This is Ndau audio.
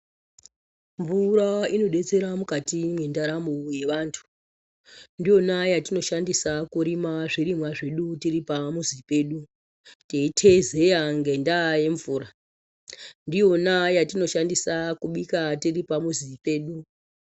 Mvura inodetsera mukati mendaramo yevantu ndiyona yatinoshandisa kurima zvirimwa zvedu tiri pamuzi pedu teiteezeya ngendaa yemvura ndiyona yatinoshandisa kubika tiri pamuzi pedu.